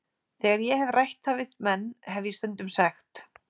Þegar ég hef rætt það við menn hef ég stundum sagt